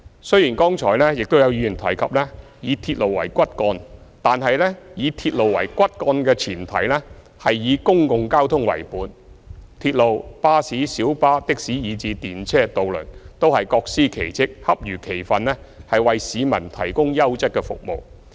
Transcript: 雖然剛才有議員提及以鐵路為骨幹，但是以鐵路為骨幹的前提，是以公共交通為本，鐵路、巴士、小巴、的士以至電車和渡輪，都是各司其職，恰如其分地為市民提供優質服務。